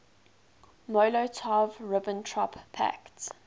molotov ribbentrop pact